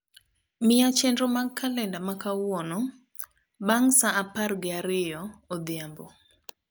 miya chenro mag kalenda ma kawuono bang saa apargi ariyo odhiambo